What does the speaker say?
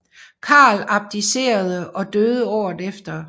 Karl abdicerede og døde året efter